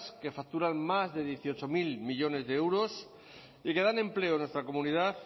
que facturan más de dieciocho mil millónes de euros y que dan empleo en nuestra comunidad